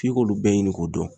F'i k'olu bɛɛ ɲini k'o dɔn.